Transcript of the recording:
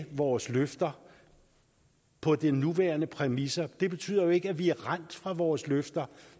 vores løfter på de nuværende præmisser det betyder jo ikke at vi er rendt fra vores løfter